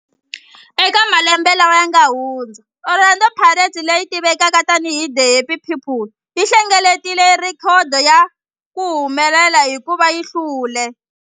Eka malembe lawa yanga hundza, Orlando Pirates, leyi tivekaka tani hi The Happy People, yi hlengeletile rhekhodo ya ku humelela hikuva yi hlule.